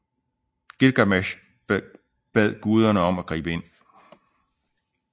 Gilgamesh bad guderne om at gribe ind